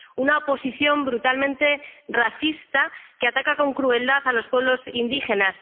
Una oposición brutalmente racista que ataca con crueldad a los pueblos indígenas.